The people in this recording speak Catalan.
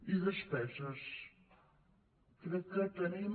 i despeses crec que tenim